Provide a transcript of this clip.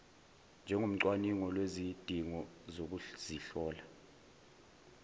njengocwaningo lwezidingo zokuzihlola